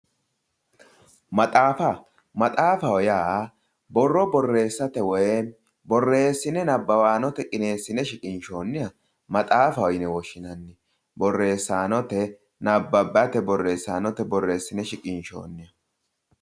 Maxaafa, maxaafaho yaa borro borreessate, borreesshine nabbawaanote qineessine shiqinshoonniha maxaafaho yine woshshinanni. Borreessaanote nabbabate borreessine shiqqinshoonniho.